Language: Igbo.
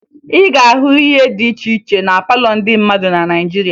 Ị ga-ahụ ihe dị iche iche na palọ ndị mmadụ na Naịjirịa